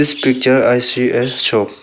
This picture I see a shop.